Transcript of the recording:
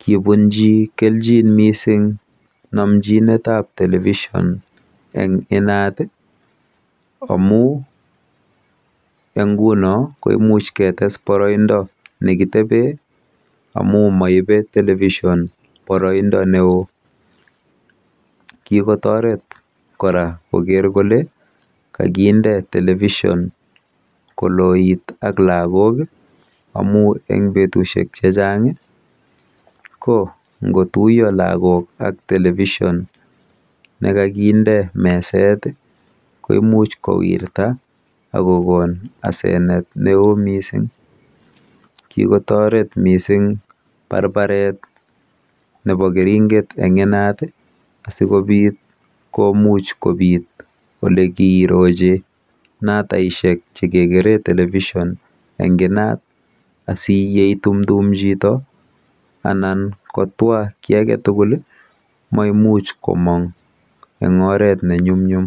Kikobunji komonut mising namchinetab television eng inat amu eng nguno komuch ketees boroindo nekitebee amu maibe Television boroindo neoo. Kikotoret kora koker kole kakinde Television koloit ak laagok amu eng betusiek chechang ko ngotuiyo lagok ak Television nekakinde meset koimuch kowirta akokon asenet neoo mising. Kikotoret mising barbaret nebo keringet eng inat asikobit komuch kobit olekiroji nataishek chekikeree Television eng inat asiyeitumtum chito anan kotwa kiy age tugul mamuch komong eng oret nenyumnyum.